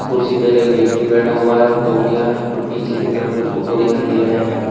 कुर्सी पर एक व्यक्ति बैठा हुआ है और तौलिया है और पीछे की तरफ कुछ ऑटो दिखाई दे रहे हैं।